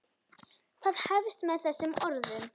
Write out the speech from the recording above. Það hefst með þessum orðum